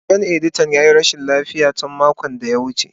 Sabon editan ya yi rashin lafiya tun makon da ya gabata.